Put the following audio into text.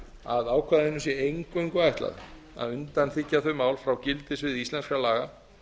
að ákvæðinu sé eingöngu ætlað að undanþiggja þau mál frá gildissviði íslenskra laga